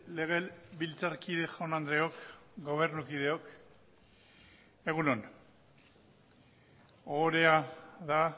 legebiltzarkide jaun andreok gobernukideok egun on ohorea da